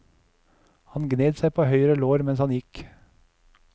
Han gned seg på høyre lår mens han gikk.